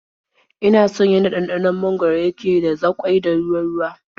Ina son yanda ɗanɗanon mangwaro yake da zaƙoi da ruwa-ruwa.